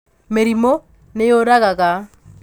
Mĩrimũ nĩyũragaga.